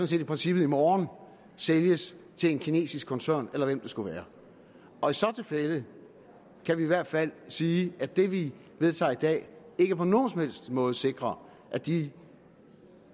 set i princippet i morgen sælges til en kinesisk koncern eller hvem det skulle være og i så tilfælde kan vi i hvert fald sige at det vi vedtager i dag ikke på nogen som helst måde sikrer at de